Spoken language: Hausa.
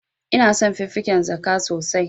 Ina son fiffiken zaka sosai.